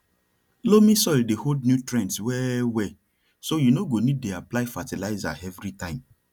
loamy soil dey hold nutrients well well so you no go need dey apply fertilizer every time